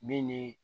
Min ni